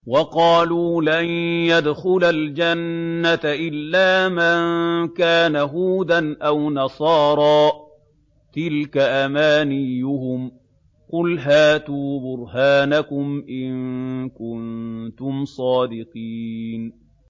وَقَالُوا لَن يَدْخُلَ الْجَنَّةَ إِلَّا مَن كَانَ هُودًا أَوْ نَصَارَىٰ ۗ تِلْكَ أَمَانِيُّهُمْ ۗ قُلْ هَاتُوا بُرْهَانَكُمْ إِن كُنتُمْ صَادِقِينَ